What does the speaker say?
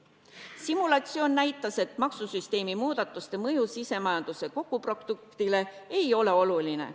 Simulatsioon näitas, et maksusüsteemi muudatuste mõju sisemajanduse kogutoodangule ei ole oluline.